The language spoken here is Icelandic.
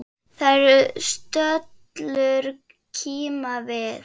Þær stöllur kíma við.